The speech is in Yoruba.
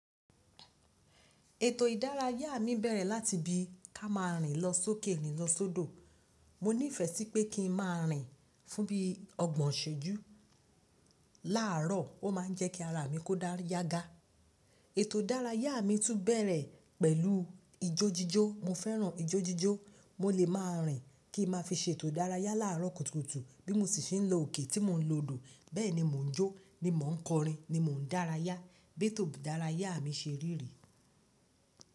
Ètò ìdárayá mi bẹ̀rẹ̀ láti bí ka ma rìn lọ sókè rín lo sodo. Mo nífẹ̀ẹ́ sí pé kí n máa rìn fún bí ọgbọ̀n isẹju. Láààrọ̀, ó ma ń jẹ́ kí ara mi kó dára yágà. Ètò ìdárayá mi tún bẹ̀rẹ̀ pẹ̀lú ijójíjó. Mo fẹ́ràn ijójíjó. Mo lè máa rìn kí n máa fi ṣe ètò ìdárayá láàrọ́ kùtùkùtù bí mo ṣe ń lọ òkè tí mo ń lo odò. Bẹ́ẹ̀ ni mò ń jó, ni mò ń kọrin, ni mò ń dárayá. Bi eto ìdárayá mi ṣe rí rí.